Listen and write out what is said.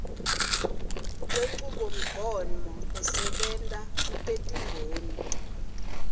lwenchubomgomo lesebenta kutetimboni